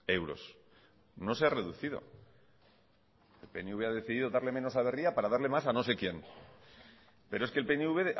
euros no se ha reducido el pnv ha decidido darle menos a berria para darle más a no sé quién pero es que el pnv